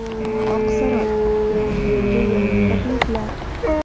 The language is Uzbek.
Oq saroy – Yangi yilga yangi takliflar.